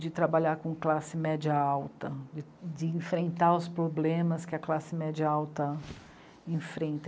De trabalhar com classe média alta, de enfrentar os problemas que a classe média alta enfrenta.